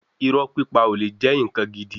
Irọ́ pípa ò le jẹ́ ǹkan gidi.